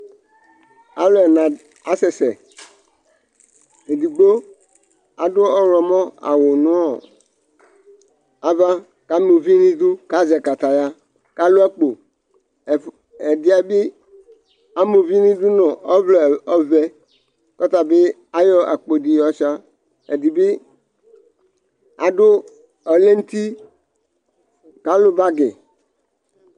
Alʋ dɛna dɩnɩ asɛ sɛ Edigbo adʋ ɔɣlɔmɔ aɣʋ nʋ ava, kʋ ama uvi nʋ idu, kʋ azɛ kataya, kʋ alʋ akpo Ɛdɩ yɛ bɩ ama uvi nʋ idu nʋ ɔvlɛ ɔvɛ, kʋ ɔta bɩ ayɔ akpo dɩ yɔ shʋa Ɛdɩ bɩ adʋ ɔlɛnuti, kʋ alʋ bagɩ